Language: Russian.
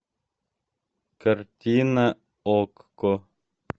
картина окко